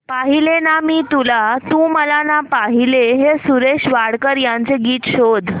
पाहिले ना मी तुला तू मला ना पाहिले हे सुरेश वाडकर यांचे गीत शोध